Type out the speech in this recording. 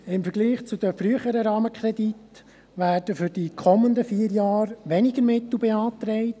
Im Vergleich zu den früheren Rahmenkrediten werden für die kommenden vier Jahre weniger Mittel beantragt.